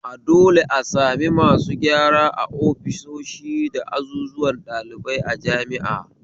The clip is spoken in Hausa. A dole a sami masu gyara ofisoshi da azuzuwan ɗalibai a jami'a